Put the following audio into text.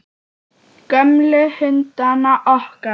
Gömlu hundana okkar.